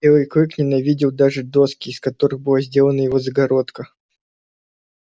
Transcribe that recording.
белый клык ненавидел даже доски из которых была сделана его загородка